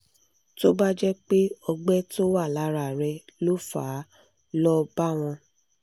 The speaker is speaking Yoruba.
tó bá jẹ́ pé ọgbẹ́ tó wà lára rẹ ló fà á lọ bá wọn